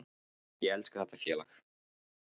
Ég elska þetta félag.